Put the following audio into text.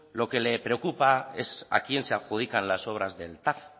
lo que le preocupa es a quién se adjudican las obras del tav